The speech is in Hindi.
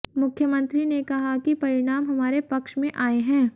मुख्यमंत्री ने कहा कि परिणाम हमारे पक्ष में आए हैं